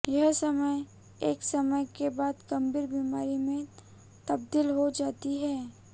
यह समस्या एक समय के बाद गंभीर बीमारी में तब्दील हो जाती है